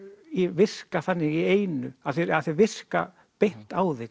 virka þannig í einu að þeir virka beint á þig